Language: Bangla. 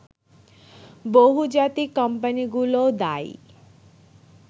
বহুজাতিক কোম্পানিগুলোও দায়ী